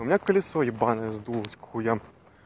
у меня колесо ебаное сдулось к хуям